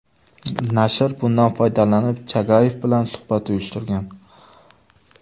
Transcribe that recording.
Nashr bundan foydalanib Chagayev bilan suhbat uyushtirgan.